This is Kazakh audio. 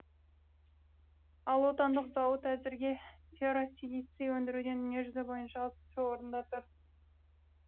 ал отандық зауыт әзірге ферросилиций өндіруден дүние жүзі бойынша алтыншы орында тұр